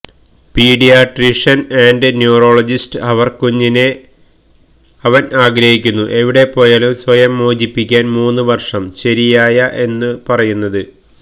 paediatrician and neurologist അവർ കുഞ്ഞിനെ അവൻ ആഗ്രഹിക്കുന്നു എവിടെപോയാലും സ്വയം മോചിപ്പിക്കാൻ മൂന്നു വർഷം ശരിയായ എന്നു പറയുന്നത്